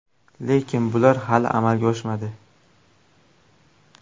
Lekin bular hali amalga oshmadi.